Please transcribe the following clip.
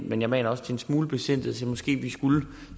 men jeg maner også til en smule besindighed måske skulle